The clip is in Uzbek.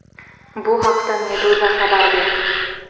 Bu haqda Meduza xabar berdi .